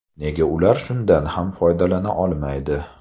Nega ular shundan ham foydalana olmaydi?